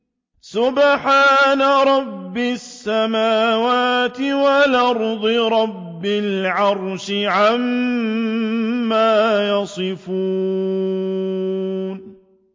سُبْحَانَ رَبِّ السَّمَاوَاتِ وَالْأَرْضِ رَبِّ الْعَرْشِ عَمَّا يَصِفُونَ